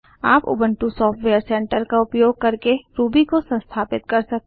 आप Ubuntu software centre का उपयोग करके रूबी को संस्थापित कर सकते हैं